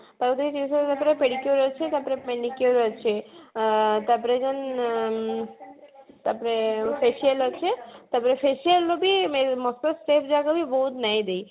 ପ୍ରାକୃତିକ ଚିକିସ୍ୟା ମାତ୍ର କି pedicure ଅଛି ତାପରେ manicure ଅଛି ଆଁ ତାପରେ କଣ ଆଁ ତାପରେ facial ଅଛି ତାପରେ facial ର ବି step ଯାକ ବି ଦେଇନି